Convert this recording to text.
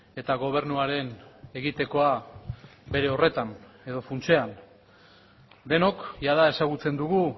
eta gobernuaren egitekoa bere horretan edo funtsean denok jada ezagutzen dugu